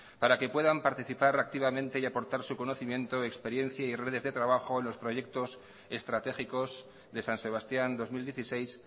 para que puedan participar activamente y aportar su conocimiento experiencia y redes de trabajo en los proyectos estratégicos de san sebastián dos mil dieciséis